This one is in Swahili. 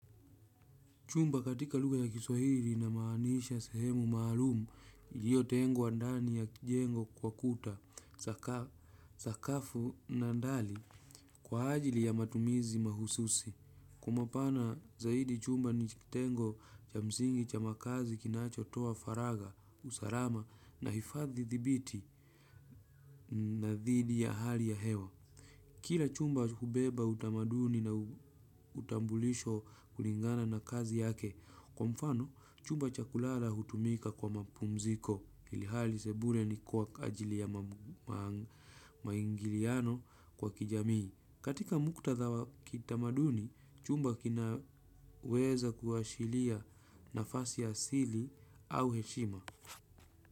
Chumba katika lugha ya kiswahili inamaanisha sehemu maalumu, iliyotengwa ndani ya kijengo kwa kuta, sakafu na ndali kwa ajili ya matumizi mahususi. Kwa mapana zaidi chumba ni kitengo cha msingi cha makazi kinachotoa faraga, usalama na hifadhi dhibiti na dhidi ya hali ya hewa. Kila chumba hubeba utamaduni na utambulisho kulingana na kazi yake, kwa mfano chumba cha kulala hutumika kwa mapumziko, ilhali sebule ni kwa ajili ya maingiliano kwa kijamii. Katika muktadha wa kitamaduni, chumba kinaweza kuashiria nafasi asili au heshima.